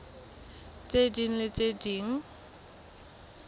tse ding le tse ding